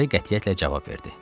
Lara qətiyyətlə cavab verdi.